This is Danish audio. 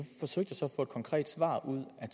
få et konkret svar ud af